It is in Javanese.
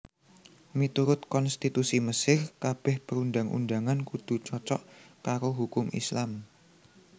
Miturut konstitusi Mesir kabèh perundang undangan kudu cocok karo hukum Islam